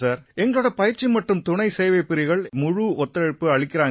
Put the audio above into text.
எங்களோட பயிற்சி மற்றும் துணை சேவைப்பிரிவுகள் எங்களுக்கு முழு ஒத்துழைப்பு அளிக்கறாங்க